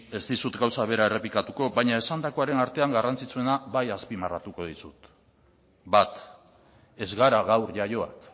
ez dizut gauza bera errepikatuko baina esandakoaren artean garrantzitsuena bai azpimarratuko dizut bat ez gara gaur jaioak